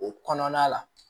O kɔnɔna la